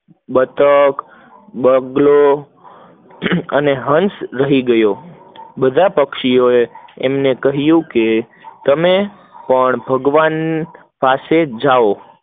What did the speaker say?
બતક, બગલો અને હંસ રહી ગયા, બઢબ પક્ષીઓ આ એમને કહીંયુ કે તમે પણ ભગવન પાસે જાઓ